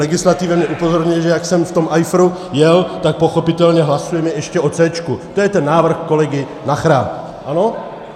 Legislativa mě upozorňuje, že jak jsem v tom ajfru jel, tak pochopitelně hlasujeme ještě o C, to je ten návrh kolegy Nachera, ano?